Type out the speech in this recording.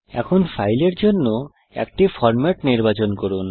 এখন ফাইলের জন্য একটি ফরম্যাট নির্বাচন করুন